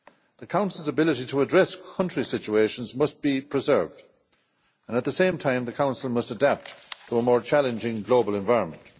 The Council's ability to address country situations must be preserved and, at the same time, the Council must adapt to a more challenging global environment.